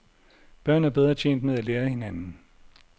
Børn er bedre tjent med at lære af hinanden.